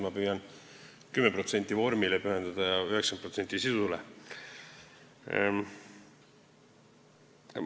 Mina püüan vormile pühendada 10% ja sisule 90%.